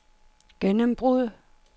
gennembrud